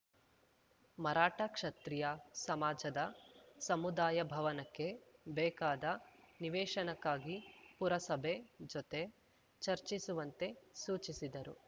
ಮರಾಠ ಕ್ಷತ್ರಿಯ ಸಮಾಜದ ಸಮುದಾಯ ಭವನಕ್ಕೆ ಬೇಕಾದ ನಿವೇಶನಕ್ಕಾಗಿ ಪುರಸಭೆ ಜೊತೆ ಚರ್ಚಿಸುವಂತೆ ಸೂಚಿಸಿದರು